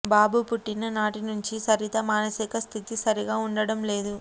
బాబు పుట్టిన నాటి నుంచి సరిత మానసిక స్థితి సరిగా ఉండడంలేదు